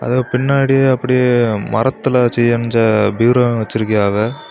அதுக்கு பின்னாடி அப்படியே மரத்துல செயஞ்ச பீரோவு வச்சிருகியாவெ.